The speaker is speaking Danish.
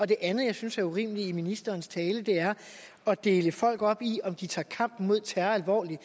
det andet jeg synes er urimeligt i ministerens tale er at dele folk op i om de tager kampen mod terror alvorligt